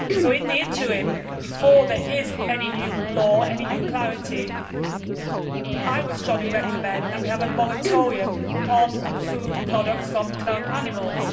In the interim, before there is any new law and any new clarity, I would strongly recommend that we have a moratorium on food products from cloned animals.